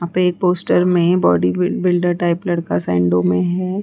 यहाँ पे एक पोस्टर में बॉडी बिल्डर टाइप लड़का सैंडो में है।